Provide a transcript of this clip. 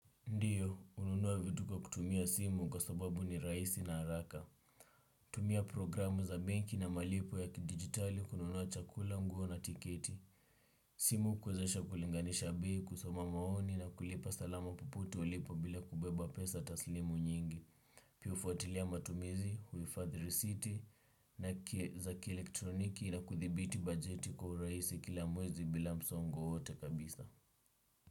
Ndiyo, ununua vitu kwa kutumia simu kwa sababu ni raisi na haraka. Tumia programu za banki na malipo ya kidigitali kununua chakula nguo na tiketi. Simu kuwezesha kulinganisha bei kusoma maoni na kulipa salama popote ulipo bila kubeba pesa taslimu nyingi. Piu ufuatilia matumizi, huifadhi risiti na kieza ki elektroniki na kuthibiti bajeti kwa uraisi kila mwezi bila msongo wote kabisa.